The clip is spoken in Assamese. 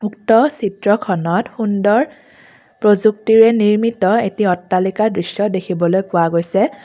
উক্ত চিত্ৰখনত সুন্দৰ প্ৰযুক্তিৰে নিৰ্মিত এটি অট্টালিকাৰ দৃশ্য দেখিবলৈ পোৱা গৈছে।